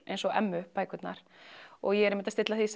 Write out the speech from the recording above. eins og Emmu bækurnar ég er einmitt að stilla því